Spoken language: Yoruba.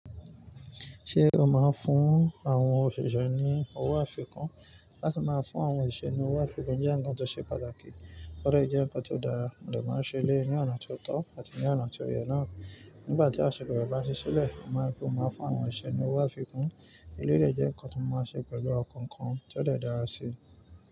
Ṣé o máa ń fún àwọn òṣìṣẹ́ ní owó àfikún? Láti máa fún àwọn osise ní owó àfikún jẹ́ ǹkan tó ṣe pàtàkì, tọ́dà jẹ́ ǹkan ti o dára, but maa se eleyi ní ọ̀nà tó tọ́ àti ní ọ̀nà tí ó yẹ náà. Nígbà tí aṣọ́bodè bá ṣí sílẹ̀, mo máa rí pé mo máa fún àwọn osise mi ní owó àfikún. Eleyi je ǹkan ti mo máa ṣe pẹ̀lú ọkàn kan tó dẹ̀ dára síi.